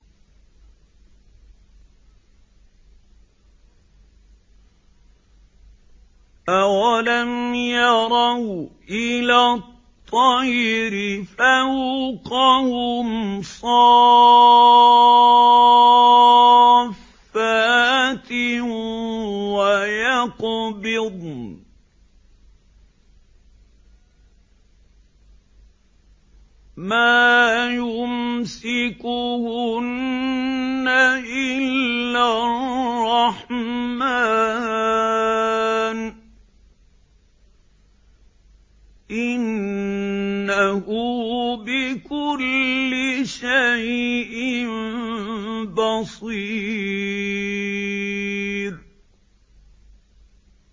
أَوَلَمْ يَرَوْا إِلَى الطَّيْرِ فَوْقَهُمْ صَافَّاتٍ وَيَقْبِضْنَ ۚ مَا يُمْسِكُهُنَّ إِلَّا الرَّحْمَٰنُ ۚ إِنَّهُ بِكُلِّ شَيْءٍ بَصِيرٌ